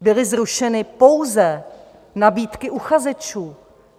Byly zrušeny pouze nabídky uchazečů.